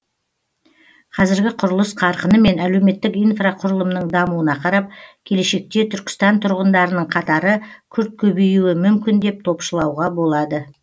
қазіргі құрылыс қарқыны мен әлеуметтік инфрақұрылымның дамуына қарап келешекте түркістан тұрғындарының қатары күрт көбеюі мүмкін деп топшылауға болады